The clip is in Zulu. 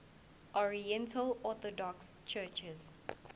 oriental orthodox churches